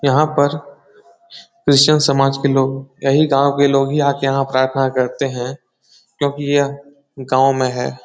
यहाँ पर क्रिस्चियन समाज के लोग यही गाँव के लोग ही आके यहाँ प्राथना करते हैं क्योंकि यह गाँव में है ।